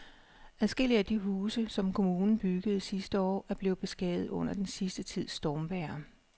Adskillige af de huse, som kommunen byggede sidste år, er blevet beskadiget under den sidste tids stormvejr.